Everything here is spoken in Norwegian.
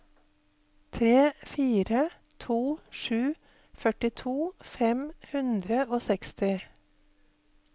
tre fire to sju førtito fem hundre og seksti